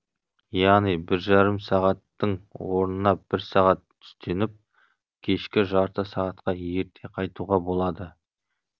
яғни бір жарым сағаттың орнына бір сағат түстеніп кешке жарты сағатқа ерте қайтуға болады